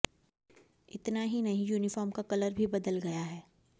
इतना ही नहीं यूनिफाॅर्म का कलर भी बदल गया है